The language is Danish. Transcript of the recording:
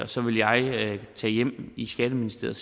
så vil jeg tage hjem i skatteministeriet